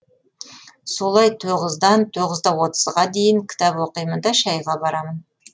солай тоғыздан тоғыз да отызға дейін кітап оқимын да шәйға барамын